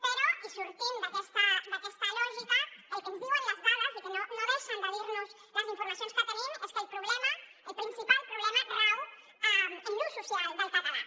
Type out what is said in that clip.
però i sortint d’aquesta lògica el que ens diuen les dades i que no deixen de dirnos les informacions que tenim és que el problema el principal problema rau en l’ús social del català